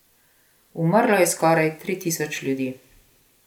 Umrlo je skoraj tri tisoč ljudi.